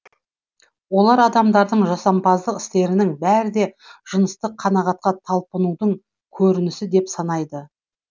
олар адамдардың жасампаздық істерінің бәрі де жыныстық қанағатка талпынудың көрінісі деп санайды